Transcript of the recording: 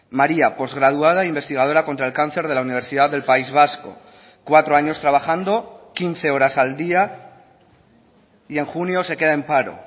maría postgraduada investigadora contra el cáncer de la universidad del país vasco cuatro años trabajando quince horas al día y en junio se queda en paro